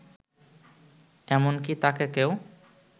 এমনকি তাকে কেউ